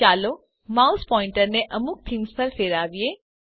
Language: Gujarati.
ચાલો માઉસ પોઈન્ટરને અમુક થીમ્સ પર ફેરવીએ